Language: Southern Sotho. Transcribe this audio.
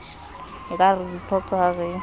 ekare re diphoqo ha re